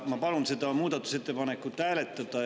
Ma palun seda muudatusettepanekut hääletada.